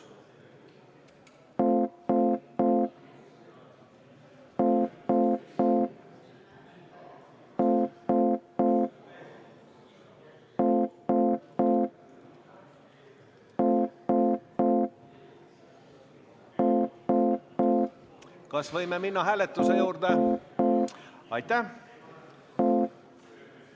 Kas võime minna hääletuse juurde?